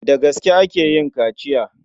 Da aska ake yin kaciya.